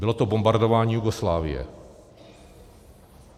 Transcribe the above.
Bylo to bombardování Jugoslávie.